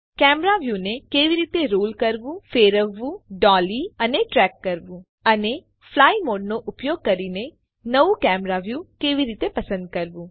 camera વ્યુને કેવી રીતે રોલ કરવું ફેરવવું ડોલી અને ટ્રેક કરવું અને ફ્લાય મોડનો ઉપયોગ કરીને નવું કેમેરા વ્યુ કેવી રીતે પસંદ કરવું